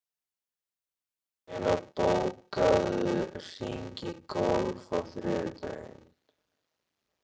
Sumarlína, bókaðu hring í golf á þriðjudaginn.